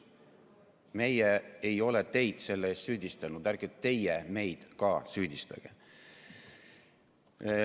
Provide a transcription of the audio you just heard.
Meie ei ole teid selle pärast süüdistanud, ärge teie meid ka süüdistage.